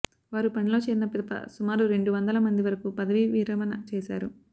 వారు పనిలో చేరిన పిదప సుమారు రెండు వందల మంది వరకు పదవీ విరమణ చేశారు